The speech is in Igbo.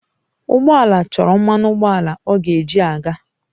Ụgbọ ala chọrọ mmanụ ụgbọala ọ ga-eji aga.